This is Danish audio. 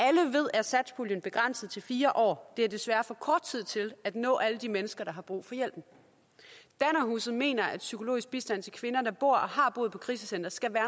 er satspuljen begrænset til fire år det er desværre for kort tid til at nå alle de mennesker der har brug for hjælpen dannerhuset mener at psykologisk bistand til kvinder der bor og har boet på krisecentrene skal være